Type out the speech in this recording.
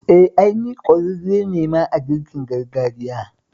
Eh, ai ni ƙwararre ne ma a girkin gargajiya